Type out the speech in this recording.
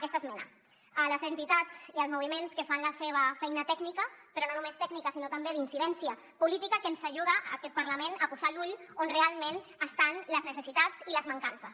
donem les gràcies a les entitats i als moviments que fan la seva feina tècnica però no només tècnica sinó també d’incidència política que ens ajuda a aquest parlament a posar l’ull on realment hi ha les necessitats i les mancances